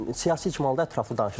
Siyasi icmalda ətraflı danışacağıq.